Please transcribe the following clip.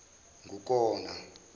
ngukona